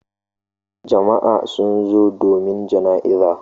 Jama'a sun zo domin jana'izar.